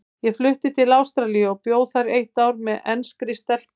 Ég flutti til Ástralíu og bjó þar eitt ár með enskri stelpu.